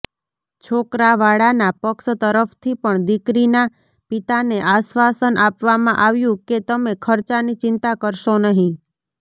છોકરાવાળાના પક્ષ તરફથી પણ દીકરીના પિતાને આશ્વાસન આપવામાં આવ્યું કે તમે ખર્ચાની ચિંતા કરશો નહીં